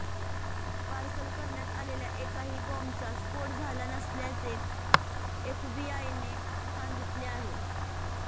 parcel करण्यात आलेला एकाही बॉम्बचा स्फोट झाला नसल्याचे एफबीआयने सांगितले आहे